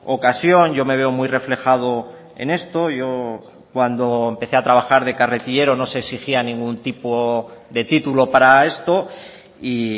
ocasión yo me veo muy reflejado en esto yo cuando empecé a trabajar de carretillero no se exigía ningún tipo de título para esto y